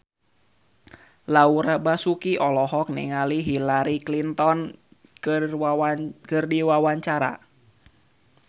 Laura Basuki olohok ningali Hillary Clinton keur diwawancara